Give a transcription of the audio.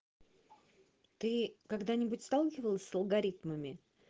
ты когда-нибудь сталкивался с алгоритмами